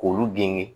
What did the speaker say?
K'olu gɛnge